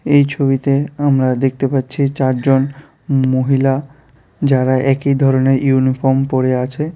এই ছবিতে আমরা দেখতে পাচ্ছি চারজন মহিলা যারা একই ধরনের ইউনিফর্ম পরে আছে।